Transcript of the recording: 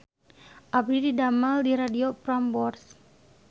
Abdi didamel di Radio Prambors